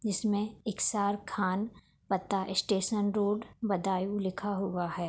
इसमें एक इकसार खान पता स्टेशन रोड बदायूं लिखा हुआ है।